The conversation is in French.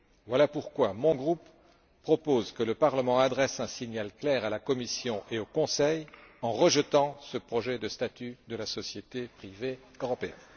Voilà pourquoi mon groupe propose que le Parlement adresse un signal clair à la Commission et au Conseil, en rejetant ce projet de statut de la société privée européenne.